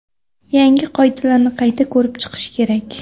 Yangi qoidalarni qayta ko‘rib chiqish kerak.